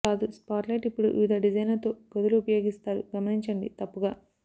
కాదు స్పాట్లైట్ ఇప్పుడు వివిధ డిజైన్లను తో గదులు ఉపయోగిస్తారు గమనించండి తప్పుగా